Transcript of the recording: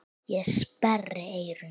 Ég sperri eyrun.